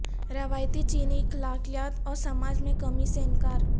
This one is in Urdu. روایتی چینی اخلاقیات اور سماج میں کمی سے انکار